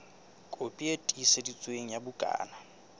kopi e tiiseditsweng ya bukana